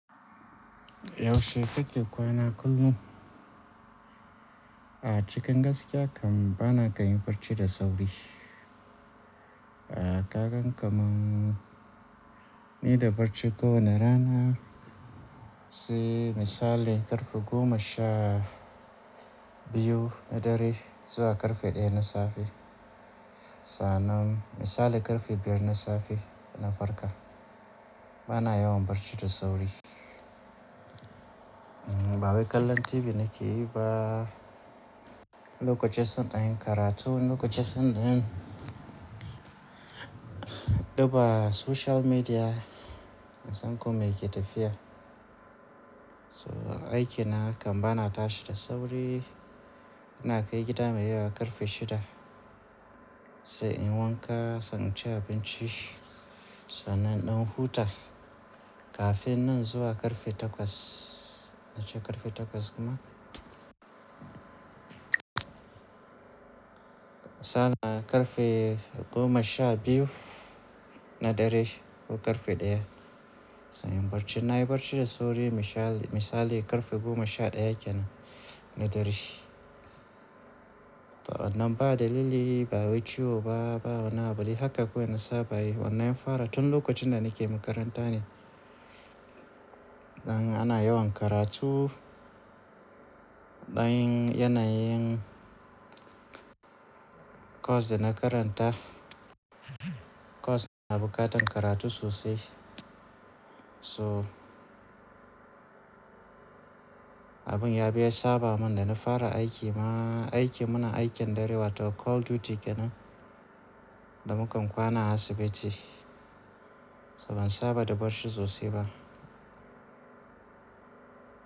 Yaushe kake kwana kullum? A cikin gaskiya kam bana kan yi barci da sauri. A kagan kamar ni da barci kowane rana sai misali karfe goma sha biyu na dare zuwa karfe ɗaya na safe. Sannan misali karfe biyar na safe na farka. Bana yawan barci da sauri. Ba wai kallon TV nake yi ba. Lokoci zan ɗan yin karatu, wani lokoci zan ɗan dubba social media in san kome ke tafiya. So aikina kam bana tashi da sauri. Ina kai gida mai yawa karfe shida sai in wanka, sai in ci abinci. Sannan ɗan huta kafin nan zuwa karfe takwas. Nace karfe takwas kuma. Sannan karfe goma sha biyu na dare ko karfe ɗaya. Sai in barci. Na yi barci da sauri misali karfe goma sha ɗaya kenan na dare. To wannan ba dalili, ba wai ciwo ba, ba wani abu dai haka kawai na saba yi. Wanna yin fara tun lokacin da nake makaranta ne. Dan ana yawan karatu. Ɗan yanayin course da na karanta course na bukatan karatu sosai. So abin ya biya saba mun da na fara aiki ma. Aiki muna aikin dare wato call duty kenan da mukan kwana a asibiti. So ban saba da barci sosai ba.